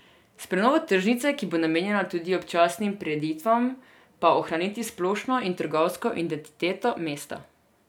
S prenovo tržnice, ki bo namenjena tudi občasnim prireditvam, pa ohraniti splošno in trgovsko identiteto mesta.